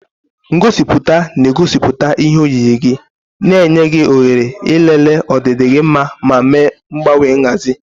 Ngosipụta na-egosipụta ihe oyiyi gị, na-enye gị ohere ịlele ọdịdị gị ma mee mgbanwe nhazi.